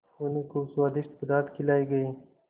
उन्हें खूब स्वादिष्ट पदार्थ खिलाये गये